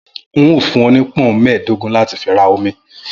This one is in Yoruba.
N óò fún ọ ni pọ́ùn mẹ́ẹ̀dógún láti fi ra omi